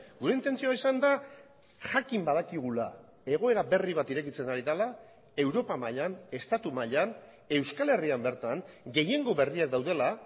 gure intentzioa izan da jakin badakigula egoera berri bat irekitzen ari dela europa mailan estatu mailan euskal herrian bertan gehiengo berriak daudela